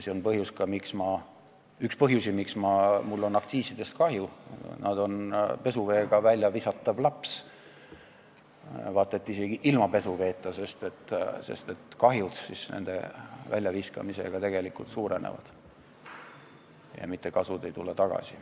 See on üks põhjusi, miks mul on aktsiisidest kahju, nad on pesuveega väljavisatav laps, vaata et isegi ilma pesuveeta, sest kahju nende väljaviskamisega tegelikult suureneb, mitte kasu ei tule tagasi.